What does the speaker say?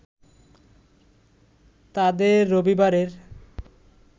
তাদের রবিবারের